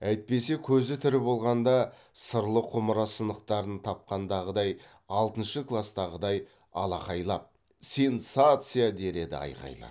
әйтпесе көзі тірі болғанда сырлы құмыра сынықтарын тапқандағыдай алтыншы кластағыдай алақайлап сенсация дер еді айқайлап